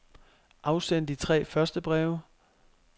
Afsend de tre første breve.